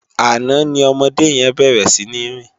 Àná ni òmòdé yèn bèrè sini rin